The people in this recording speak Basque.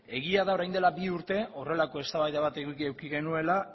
egia da orain dela bi urte horrelako eztabaida bat eduki eduki genuela